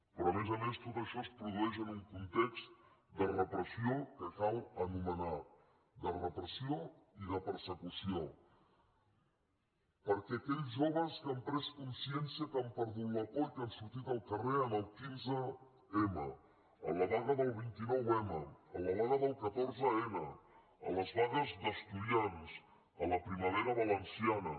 però a més a més tot això es produeix en un context de repressió que cal anomenar de repressió i de persecució perquè aquells joves que han pres consciència que han perdut la por i que han sortit al carrer el quinze m a la vaga del vint nou m a la vaga del catorze n a les vagues d’estudiants a la primavera valenciana